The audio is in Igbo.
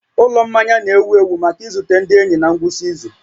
Ụlọ mmanya na-ewu ewu maka izute ndị enyi na ngwụsị izu